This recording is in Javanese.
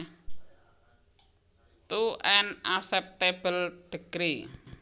To an acceptable degree